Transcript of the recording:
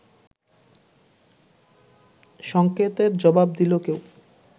সংকেতের জবাব দিল কেউ